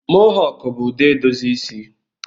Mahawk bụ ụdị edozi isi